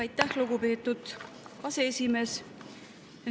Aitäh, lugupeetud aseesimees!